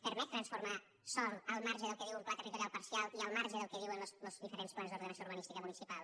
permet transformar sòl al marge del que diu un pla territorial parcial i al marge del que diuen los diferents plans d’ordenació urbanística municipal